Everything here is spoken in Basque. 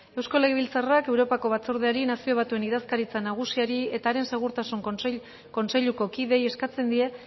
eusko legebiltzarrak europako batzordeari nazio batuen idazkaritza nagusiari eta haren segurtasun kontseiluko kideei eskatzen die